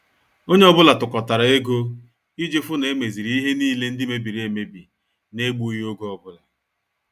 Onye ọ bụla tukotara ego iji fu na emeziri ihe niile ndị mebiri emebi n' egbughi oge ọbụla